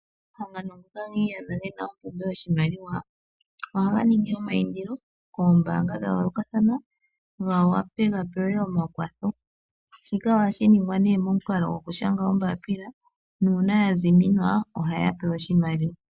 Omahangano ngoka gi iyadha ge na ompumbwe yopashimaliwa ohaga ningi eindilo koombanga dha yoolokathana, ga wape ga pewe omakwatho, shika ohashi ningwa nee momukalo gokushanga ombaapila nuuna ya ziminwa ohaya pewa oshimaliwa.